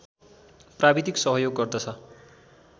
प्राविधिक सहयोग गर्दछ